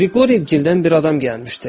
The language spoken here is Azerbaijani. Qriqoriyevgilədən bir adam gəlmişdi.